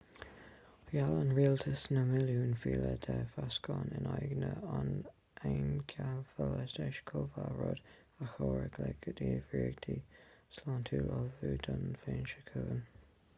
gheall an rialtas na milliúin fial de vacsaín in aghaidh an einceifealaítis chomh maith rud a chabhróidh le gníomhaireachtaí sláinte ullmhú don bhliain seo chugainn